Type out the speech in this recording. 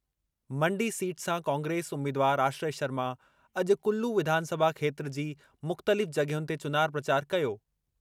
मण्डी seat सां कांग्रेस उम्मीदवार आश्रय शर्मा अॼु कुल्लू विधानसभा खेत्र जी मुख़्तलिफ़ जॻहियुनि ते चुनाव प्रचार कयो।